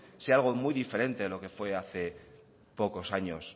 sea algo muy diferente de lo que fue hace pocos años